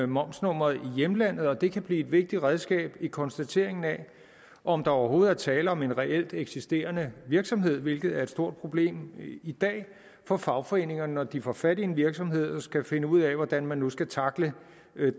momsnummeret i hjemlandet og det kan blive et vigtigt redskab i konstateringen af om der overhovedet er tale om en reelt eksisterende virksomhed hvilket er et stort problem i dag for fagforeningerne når de får fat i en virksomhed og skal finde ud af hvordan man nu skal tackle